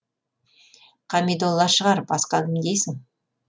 қамидолла шығар басқа кім дейсің